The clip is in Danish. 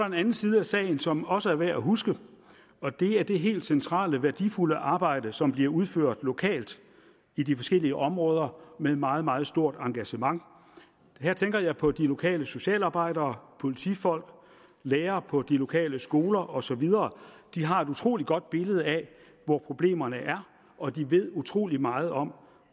en anden side af sagen som også er værd at huske og det er det helt centrale og værdifulde arbejde som bliver udført lokalt i de forskellige områder med et meget meget stort engagement og her tænker jeg på de lokale socialarbejdere politifolk lærere på de lokale skoler og så videre de har et utrolig godt billede af hvor problemerne er og de ved utrolig meget om